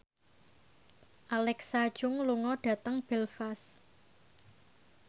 Alexa Chung lunga dhateng Belfast